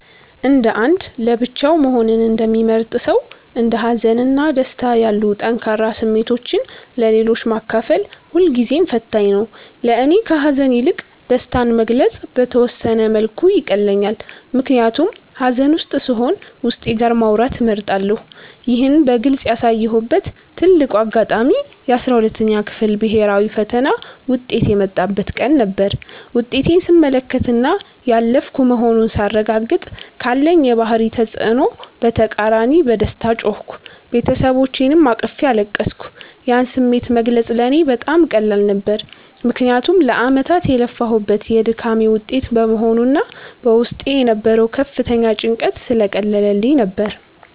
እንደ አንድ ለብቻው መሆንን እንደሚመርጥ ሰው፣ እንደ ሀዘን እና ደስታ ያሉ ጠንካራ ስሜቶችን ለሌሎች ማካፈል ሁልጊዜም ፈታኝ ነው። ለእኔ ከሐዘን ይልቅ ደስታን መግለጽ በተወሰነ መልኩ ይቀለኛል፤ ምክንያቱም ሐዘን ውስጥ ስሆን ዉስጤ ጋር ማውራትን እመርጣለሁ። ይህን በግልጽ ያሳየሁበት ትልቁ አጋጣሚ የ12ኛ ክፍል ብሔራዊ ፈተና ውጤት የመጣበት ቀን ነበር። ውጤቴን ስመለከትና ያለፍኩ መሆኑን ሳረጋግጥ፤ ካለኝ የባህሪ ተጽዕኖ በተቃራኒ በደስታ ጮህኩ፤ ቤተሰቦቼንም አቅፌ አለቀስኩ። ያን ስሜት መግለጽ ለእኔ በጣም ቀላል ነበር፤ ምክንያቱም ለዓመታት የለፋሁበት የድካሜ ውጤት በመሆኑና በውስጤ የነበረው ከፍተኛ ጭንቀት ስለቀለለልኝ ነበር።